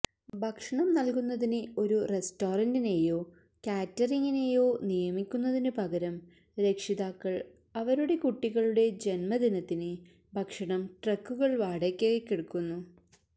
ഭക്ഷണം നൽകുന്നതിന് ഒരു റെസ്റ്റോറന്റിനെയോ ക്യാറ്ററററിനെയോ നിയമിക്കുന്നതിനു പകരം രക്ഷിതാക്കൾ അവരുടെ കുട്ടികളുടെ ജന്മദിനത്തിന് ഭക്ഷണം ട്രക്കുകൾ വാടകയ്ക്കെടുക്കുന്നു